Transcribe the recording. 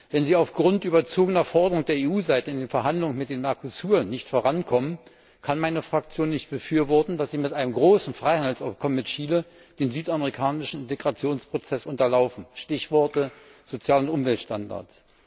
Wenn Sie aufgrund überzogener Forderungen der EU Seite in den Verhandlungen mit dem Mercosur nicht vorankommen, kann meine Fraktion nicht befürworten, dass Sie mit einem großen Freihandelsabkommen mit Chile den südamerikanischen Integrationsprozess unterlaufen Stichworte Sozial und Umweltstandards.